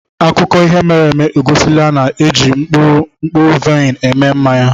akụkọ ihe mere eme egosila na a na-eji mkpụrụ mkpụrụ vaịn eme mmanya.